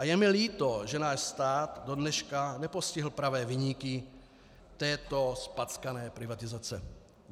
A je mi líto, že náš stát dodneška nepostihl pravé viníky této zpackané privatizace.